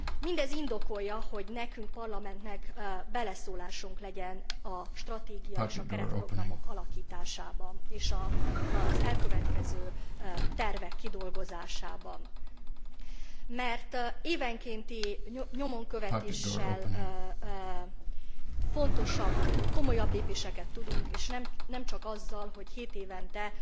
Mindez indokolja, hogy nekünk, Parlamentnek beleszólásunk legyen a stratégia és a keretprogramok alakításába, és az elkövetkező tervek kidolgozásába, mert évenkénti nyomon követéssel komolyabb lépéseket tudunk tenni, és nemcsak azzal, hogy kétévente